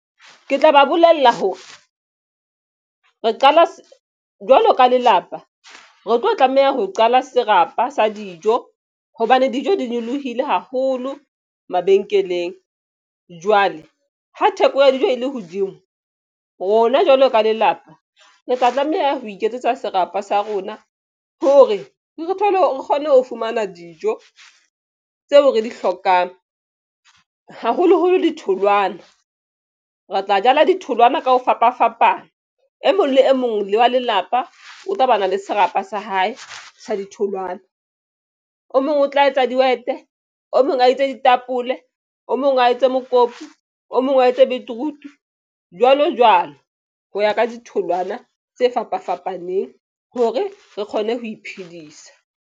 Ke tla ba bolella hore re qala jwalo ka lelapa re tlo tlameha ho qala serapa sa dijo hobane dijo di nyolohile haholo mabenkeleng. Jwale ha theko ya dijo e le hodimo rona jwalo ka lelapa re tla tlameha ho iketsetsa serapa sa rona hore re thole hore re kgone ho fumana dijo tseo re di hlokang haholoholo di tholwana re tla jala ditholwana ka ho fapafapana. E mong le e mong wa lelapa o tla ba na le serapa sa hae sa ditholwana. O mong o tla etsa dihwete o mong a itse ditapole o mong wa etsa mokopu o mong wa etsa betroot jwalo jwalo ho ya ka ditholwana tse fapafapaneng. Hore re kgone ho iphedisa.